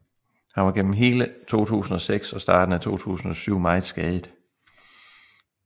Han var gennem hele 2006 og starten af 2007 meget skadet